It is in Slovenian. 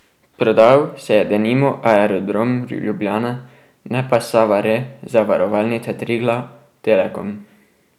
Prodal se je denimo Aerodrom Ljubljana, ne pa Sava Re, Zavarovalnica Triglav, Telekom.